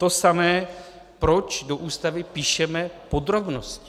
To samé, proč do Ústavy píšeme podrobnosti.